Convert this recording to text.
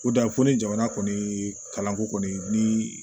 Ko dan ko ni jamana kɔni kalanko kɔni ni